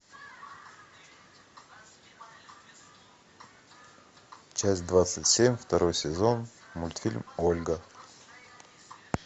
часть двадцать семь второй сезон мультфильм ольга